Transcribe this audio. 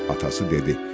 Atası dedi: